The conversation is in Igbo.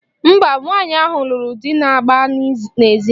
Mba, nwaanyị ahụ lụrụ di na-agba n'ezi.